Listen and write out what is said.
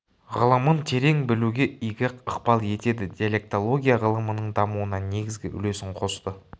ғылымын терең білуге игі ықпал етеді диалектология ғылымының дамуына негізгі үлесін қосты